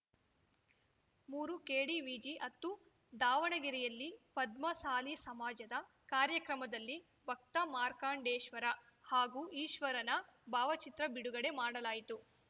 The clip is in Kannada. ಮೂರುಕೆಡಿವಿಜಿಹತ್ತು ದಾವಣಗೆರೆಯಲ್ಲಿ ಪದ್ಮಸಾಲಿ ಸಮಾಜದ ಕಾರ್ಯಕ್ರಮದಲ್ಲಿ ಭಕ್ತ ಮಾರ್ಕಂಡೇಶ್ವರ ಹಾಗೂ ಈಶ್ವರನ ಭಾವಚಿತ್ರ ಬಿಡುಗಡೆ ಮಾಡಲಾಯಿತು